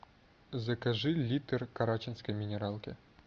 закажи литр карачинской минералки